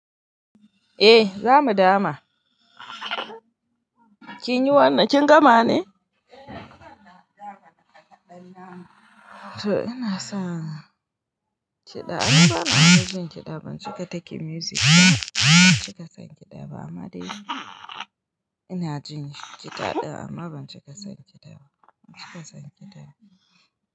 Eh za mu dama. Kinyi wannan kin gama ne? To ina sa san ehn kida. Ni bana fa jin iida ban cika takin music ba. Ban cika san kida ba. Amma dai ina jin kida ɗin amma ban cika san cida ba. Ban cika san cida ba.